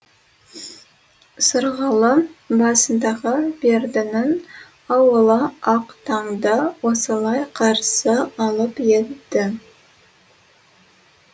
сырғалы басындағы бердінің ауылы ақ таңды осылай қарсы алып еді